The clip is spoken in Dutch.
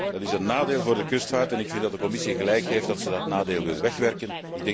Dat is een nadeel voor de kustvaart en ik vind dat de Commissie gelijk heeft dat ze dat nadeel wil wegwerken.